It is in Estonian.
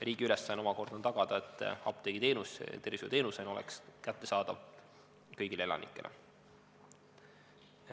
Riigi ülesanne omakorda on tagada, et apteegiteenus tervishoiuteenusena oleks kättesaadav kõigile elanikele.